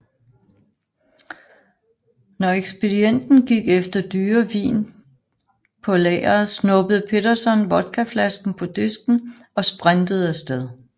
Når ekspedienten gik efter dyre vin på lageret snuppede Petersson vodkaflasken på disken og sprintede afsted